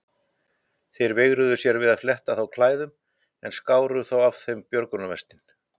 Þeir veigruðu sér við að fletta þá klæðum en skáru þó af þeim björgunarvestin.